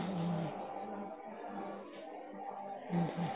ਹਮ ਹਮ